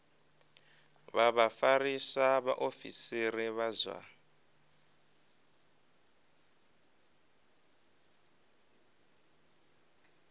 vha vhafarisa vhaofisiri vha zwa